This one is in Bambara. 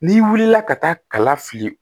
N'i wulila ka taa kala fili